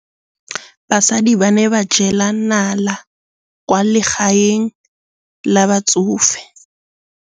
Basadi ba ne ba jela nala kwaa legaeng la batsofe.